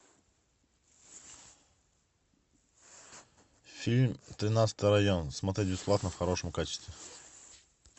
фильм тринадцатый район смотреть бесплатно в хорошем качестве